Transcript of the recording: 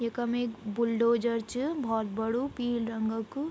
यखम एक बुलडोज़र च भौत बडू पील रंगो क।